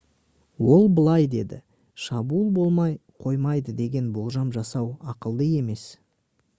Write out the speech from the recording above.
ол былай деді: «шабуыл болмай қоймайды деген болжам жасау ақылды емес»